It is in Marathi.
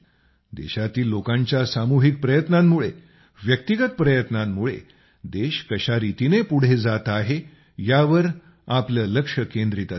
देशातील लोकांच्या सामूहिक प्रयत्नांमुळेव्यक्तिगत प्रयत्नांमुळे देश कशारितीने पुढे जात आहे यावर आपलं लक्ष्य केंद्रीत असेल